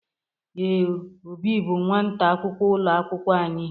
Ee, Obi bụ nwata akwụkwọ ụlọ akwụkwọ anyị.